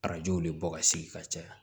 Arajow de bɔ ka sigi ka caya